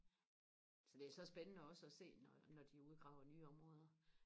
så det er så spændende også og se når når de udgraver nye områder